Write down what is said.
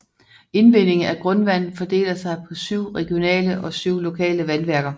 Indvindingen af grundvand fordeler sig på syv regionale og syv lokale vandværker